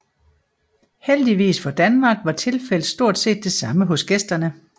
Heldigvis for Danmark var tilfældet stort set det samme hos gæsterne